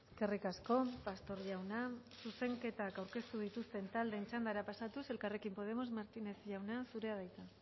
eskerrik asko pastor jauna zuzenketak aurkeztu dituzten taldeen txandara pasatuz elkarrekin podemos martínez jauna zurea da hitza